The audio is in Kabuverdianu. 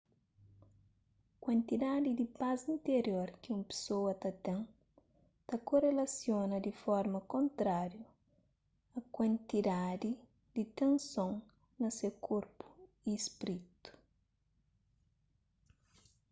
kuantidadi di pas interior ki un pesoa ta ten ta korelasiona di forma kontrariu a kuantidadi di tenson na se korpu y spritu